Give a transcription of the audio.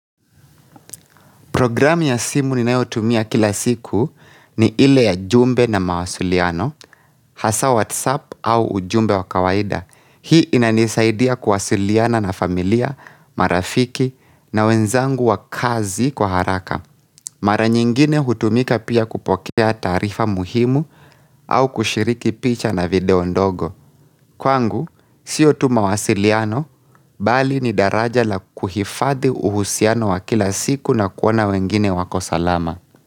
Program ya simu ninayotumia kila siku ni ile ya jumbe na mawasiliano, hasa whatsapp au ujumbe wa kawaida. Hii inanisaidia kuwasiliana na familia, marafiki na wenzangu wa kazi kwa haraka. Mara nyingine hutumika pia kupokea taarifa muhimu au kushiriki picha na video ndogo. Kwangu, sio tu mawasiliano, bali ni daraja la kuhifadhi uhusiano wa kila siku na kuona wengine wako salama.